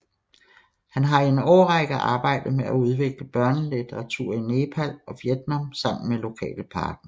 Han har i en årrække arbejdet med at udvikle børnelitteratur i Nepal og Vietnam sammen med lokale partnere